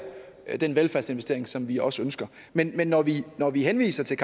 den velfærdsinvestering som vi også ønsker men men når vi når vi henviser til